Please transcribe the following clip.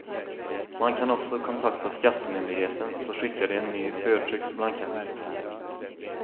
Man kan också kontakta skattemyndigheten, så skickar de en ny förtryckt blankett.